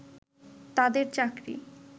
তাদের চাকরি